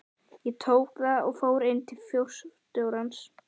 Ég tók það og fór inn til forstjórans.